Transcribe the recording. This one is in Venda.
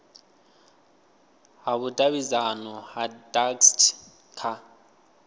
ha vhudavhidzano ha dacst kha